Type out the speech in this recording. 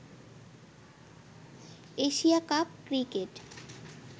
Asia cup cricket